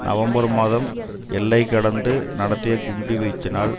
November மாதம் எல்லை கடந்து நடத்திய குண்டு வீச்சினால்